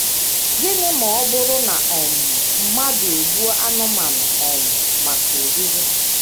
Gịnị ma ọ bụrụ na um mmadụ egbuo anụmanụ um maka oriri?